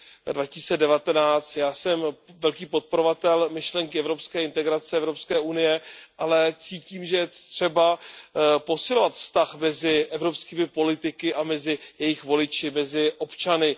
2019. Já jsem velký podporovatel myšlenky evropské integrace, Evropské unie, ale cítím, že je třeba posilovat vztah mezi evropskými politiky a mezi jejich voliči, mezi občany.